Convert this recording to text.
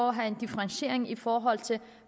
at have en differentiering i forhold til